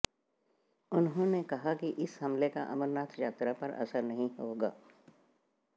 उन्होंने कहा कि इस हमले का अमरनाथ यात्रा पर असर नहीं होगा